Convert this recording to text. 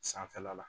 Sanfɛla la